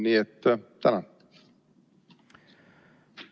Nii et tänan!